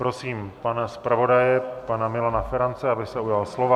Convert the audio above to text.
Prosím pana zpravodaje, pana Milana Ferance, aby se ujal slova.